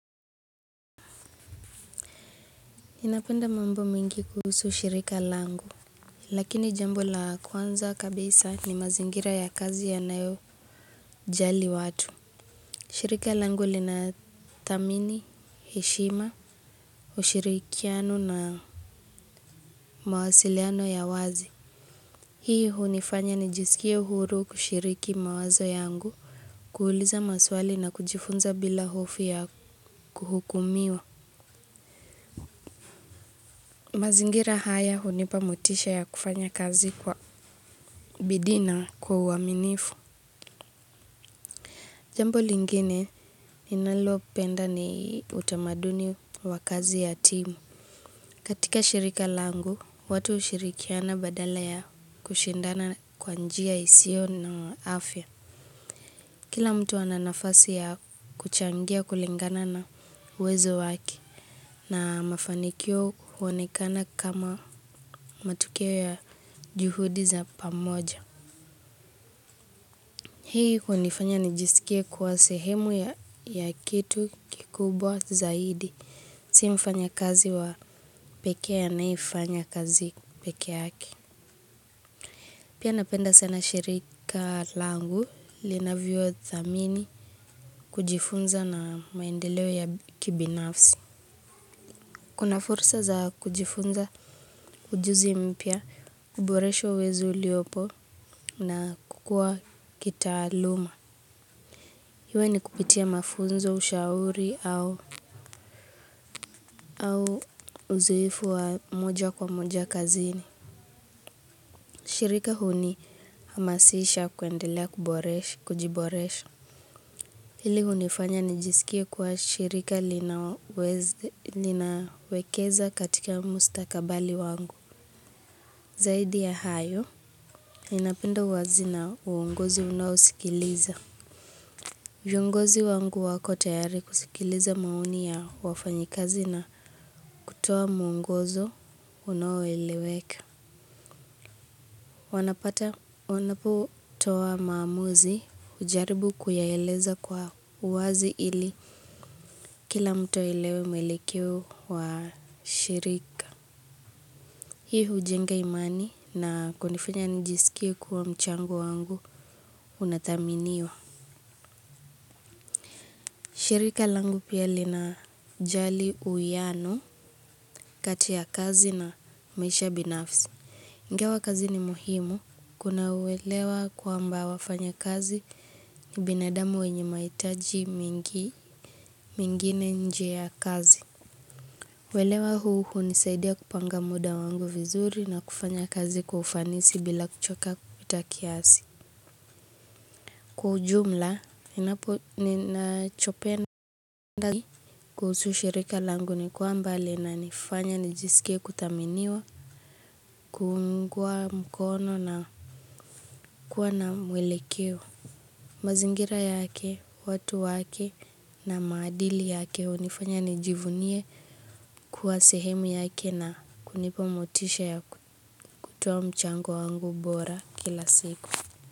Ninapenda mambo mengi kuhusu shirika langu. Lakini jambo la kwanza kabisa ni mazingira ya kazi yanayojali watu. Shirika langu linatamini, heshima, ushirikiano na mawasiliano ya wazi. Hii hunifanya nijisikie huru kushiriki mawazo yangu. Kuuliza maswali na kujifunza bila hofu ya kuhukumiwa. Mazingira haya hunipa motisha ya kufanya kazi kwa bidii na. Kwa uaminifu. Jambo lingine ninalopenda ni utamaduni wa kazi ya timu. Katika shirika langu, watu hushirikiana badala ya kushindana kwa njia isio na afya. Kila mtu ana nafasi ya kuchangia kulingana na uwezo wake na mafanikio huonekana kama matukio ya juhudi za pamoja. Hii hunifanya nijisikie kuwa sehemu ya kitu kikubwa zaidi. Si mfanyakazi wa pekee anayefanya kazi peke yake. Pia napenda sana shirika langu linavyothamini kujifunza na maendeleo ya kibinafsi. Kuna fursa za kujifunza ujuzi mpya kuboresha uwezo uliopo na kukua kitaaluma. Iwe ni kupitia mafunzo ushauri au au uzoefu wa moja kwa moja kazini. Shirika hunihamasisha kuendelea kujiboresha. Hili hunifanya nijisikie kwa shirika linawekeza katika mustakabali wangu. Zaidi ya hayo. Ninapinda uwazi na uongozi unaosikiliza. Viongozi wangu wako tayari kusikiliza maoni ya wafanyikazi na kutoa muongozo unaoeleweka. Wanapata wanaputoa maamuzi hujaribu kuyaeleza kwa uwazi ili kila mtu aelewe mwelekeo wa shirika. Hii hujenga imani na kunifanya nijisikie kuwa mchango wangu unathaminiwa. Shirika langu pia linajali uianu kati ya kazi na maisha binafsi. Ingawa kazi ni muhimu kuna uelewa kwamba wafanyakazi ni binadamu wenye maitaji mingi mingine nje ya kazi. Uelewa huu hunisaidia kupanga muda wangu vizuri na kufanya kazi kwa ufanisi bila kuchoka kupita kiasi. Kwa ujumla ninapo ninachopenda zaidi kuhusu shirika langu ni kwamba linanifanya nijisikie kuthaminiwa kuungwa mkono na kuwa na mwelekeo. Mazingira yake, watu wake na maadili yake unifanya nijivunie kuwa sehemu yake na kunipa motisha ya kutoa mchango wangu bora kila siku.